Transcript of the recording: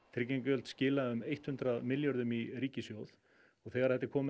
tryggingagjöld skila um hundrað milljörðum í ríkissjóð og þegar þetta er komið